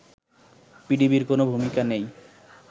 পিডিবির কোনো ভূমিকা নেই